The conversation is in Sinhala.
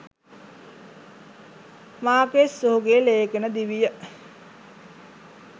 මාකේස් ඔහුගේ ‍ලේඛන දිවිය